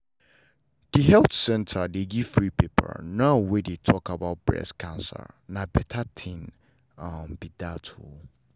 the health center dey give free paper now wey dey talk about breast cancer na better thing um be that o